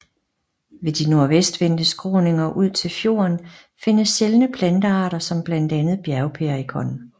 Ved de nordvestvendte skråninger ud til fjorden findes sjældne plantearter som blandt andet bjergperikon